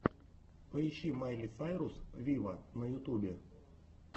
поищи майли сайрус виво на ютубе